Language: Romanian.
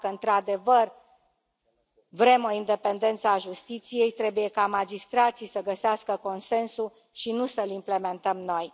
Dacă, într adevăr, vrem o independență a justiției, trebuie ca magistrații să găsească consensul, și nu să l implementăm noi.